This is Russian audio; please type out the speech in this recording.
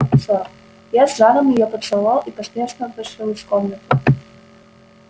я с жаром её поцеловал и поспешно вышел из комнаты